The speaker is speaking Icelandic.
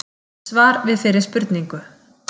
Svar við fyrri spurningu: